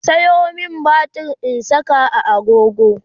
ku Sayo mani batir in Saka a agogo